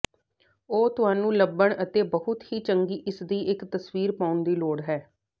ਉਹ ਤੁਹਾਨੂੰ ਲੱਭਣ ਅਤੇ ਬਹੁਤ ਹੀ ਚੰਗੀ ਇਸ ਦੀ ਇੱਕ ਤਸਵੀਰ ਪਾਉਣ ਦੀ ਲੋੜ ਹੈ